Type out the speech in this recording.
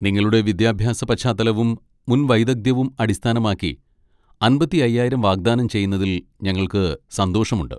നിങ്ങളുടെ വിദ്യാഭ്യാസ പശ്ചാത്തലവും മുൻ വൈദഗ്ധ്യവും അടിസ്ഥാനമാക്കി അമ്പത്തി അയ്യായിരം വാഗ്ദാനം ചെയ്യുന്നതിൽ ഞങ്ങൾക്ക് സന്തോഷമുണ്ട്.